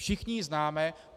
Všichni ji známe!